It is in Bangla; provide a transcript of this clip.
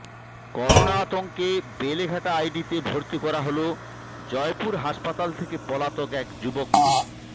করোনা আতঙ্কে বেলেঘাটা আইডিতে ভর্তি করা হল জয়পুর হাসপাতাল থেকে পলাতক এক যুবককে